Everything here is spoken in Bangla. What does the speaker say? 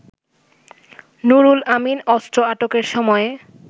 নুরুল আমিন অস্ত্র আটকের সময়ে